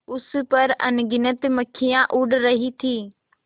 उस पर अनगिनत मक्खियाँ उड़ रही थीं